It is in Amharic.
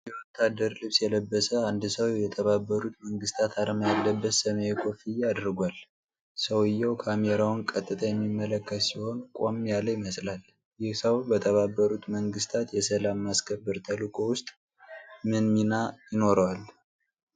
የወታደር ልብስ የለበሰ አንድ ሰው የተባበሩት መንግስታት አርማ ያለበት ሰማያዊ ኮፍያ አድርጓል። ሰውየው ካሜራውን ቀጥታ የሚመለከት ሲሆን፣ ቆም ያለ ይመስላል። ይህ ሰው በተባበሩት መንግስታት የሰላም ማስከበር ተልዕኮ ውስጥ ምን ሚና ይኖረዋል?